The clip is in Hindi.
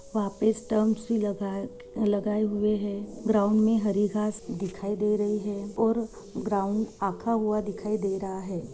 वापीस स्टंपस लगाए लगाए हुए है ग्राउंड में हरी घास दिखाई दे रही है और ग्राउंड आखा हुआ दिखाई दे रहा है|